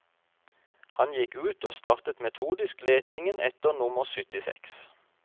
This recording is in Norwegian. Han gikk ut og startet metodisk letingen etter nummer syttiseks.